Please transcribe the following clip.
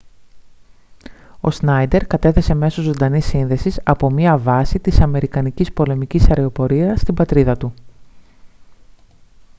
ο σνάιντερ κατέθεσε μέσω ζωντανής σύνδεσης από μια βάση της αμερικανικής πολεμικής αεροπορίας στην πατρίδα του